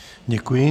Děkuji.